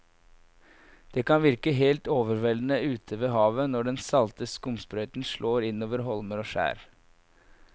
Det kan virke helt overveldende ute ved havet når den salte skumsprøyten slår innover holmer og skjær.